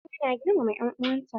Amina na girmama en'uwan ta?